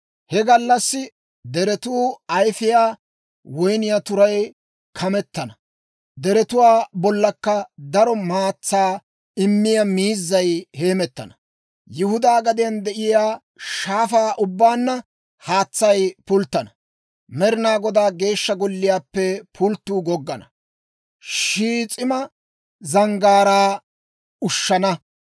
«He gallassi deretuu ayfiyaa woyniyaa turaan kametana; deretuwaa bollankka daro maatsaa immiyaa miizay heemettana. Yihudaa gadiyaan de'iyaa shaafaa ubbaanna haatsay pulttana. Med'inaa Godaa Geeshsha Golliyaappe pulttuu goggana; Shiis'ima Zanggaaraa ushshana.